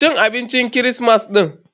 Cin abincin kirismas din.